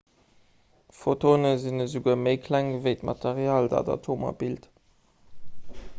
photone sinn esouguer méi kleng ewéi d'material dat atomer bilt